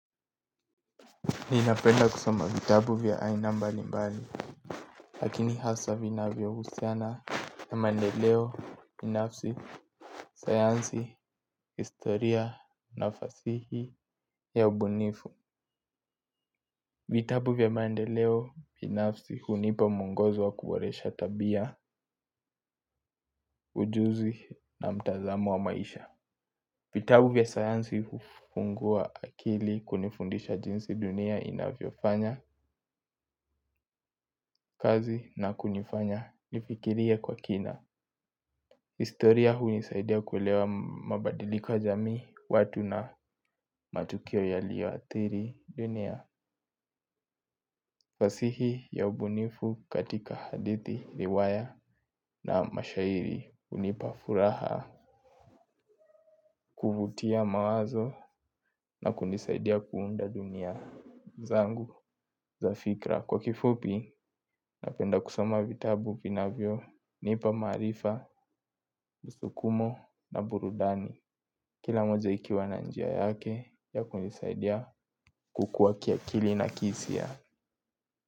Ninapenda kusoma vitabu vya aina mbali mbali. Lakini hasa vina vyo usiana na mandeleo, binafsi, sayansi, historia na fasihi ya ubunifu vitabu vya maendeleo binafsi hunipa muongozo wa kuboresha tabia ujuzi na mtazamo wa maisha. Vitabu vya sayansi hufungua akili kunifundisha jinsi dunia inafyofanya, kazi na kunifanya, nifikirie kwa kina. Historia hui nisaidia kulewa mabadiliko ya jamii, watu na matukio ya liwa atiri dunia. Fasihi ya ubunifu katika hadithi, riwaya na mashairi unipafuraha kuvutia mawazo na kunisaidia kuunda dunia zangu za fikra. Kwa kifupi, napenda kusoma vitabu vinavyo nipa marifa, musukumo na burudani. Kila moja ikiwa na njia yake ya kunisaidia kukuwa kia kilina kisi ya.